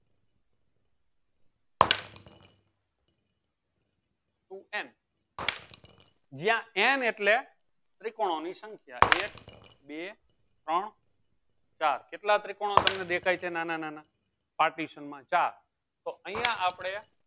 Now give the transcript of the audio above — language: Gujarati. ટુ n જ્યાં n એટલે ત્રીકોનો ની સંખ્યા એક બે ત્રણ ચાર કેટલા ત્રિકોણ તમને દેખાય છે નાના નાના partition મા ચાર તો અયીયા આપળે